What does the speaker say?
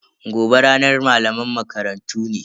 Gobe ranar malaman makarantu ne.